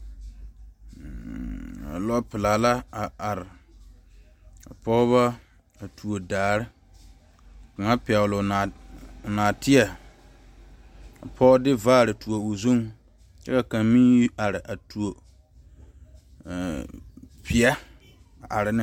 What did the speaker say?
Lɔɔ pelaa la a are, ka pɔgeba tuo daare ka kaŋa. pɛgele o nɔɔte ka pɔge de vaare tuo o zʋŋ kyɛ ka kaŋa. meŋ yi are a tuo peɛ a are ne.